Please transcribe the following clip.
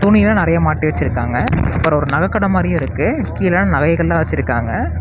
துணி எல்லாம் நறைய மாட்டி வச்சிருக்காங்க அப்புறம் ஒரு நகை கடை மாறியும் இருக்கு கீழ நகைகள் எல்லாம் வச்சிருக்காங்க.